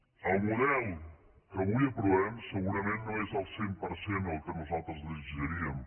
el model que avui aprovem segurament no és al cent per cent el que nosaltres desitjaríem